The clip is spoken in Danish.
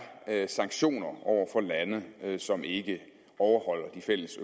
sanktioner over for lande som ikke overholder de fælles